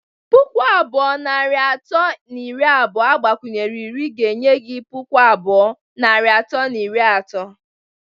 Pụkụ abụọ, narị atọ na iri abụọ agbakwunyere iri ga-enye gị pụkụ abụọ, narị atọ na iri atọ